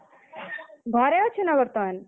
ଘରେ ଅଛୁ ନା ବର୍ତ୍ତମାନ?